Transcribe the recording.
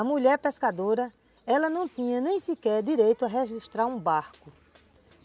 A mulher pescadora, ela não tinha nem sequer direito a registrar um barco.